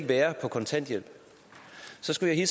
være på kontanthjælp så skulle jeg